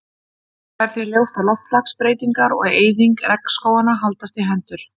það er því ljóst að loftslagsbreytingar og eyðing regnskóganna haldast í hendur